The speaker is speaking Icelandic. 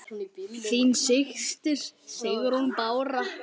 Þín systir, Sigrún Bára.